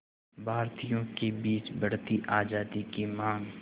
भारतीयों के बीच बढ़ती आज़ादी की मांग